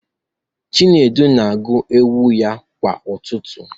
Chinedu na-agụ ewu ya kwa ụtụtụ